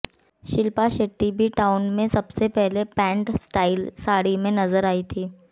Shilpa Shetty B town में सबसे पहले पैंट स्टाइल साड़ी में नजर आई थीं